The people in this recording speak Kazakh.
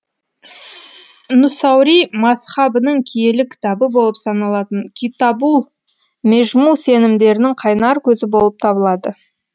нусайри мазһабының киелі кітабы болып саналатын китабул межму сенімдерінің қайнар көзі болып табылады